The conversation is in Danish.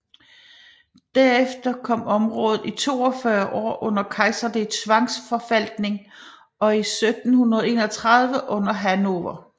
Derefter kom området i 42 år under kejserlig tvangsforvaltning og 1731 under Hannover